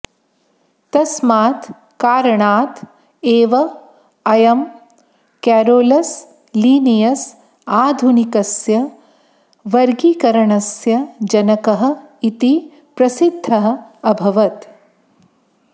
तस्मात् कारणात् एव अयं केरोलस् लीनियस् आधुनिकस्य वर्गीकरणस्य जनकः इति प्रसिद्धः अभवत्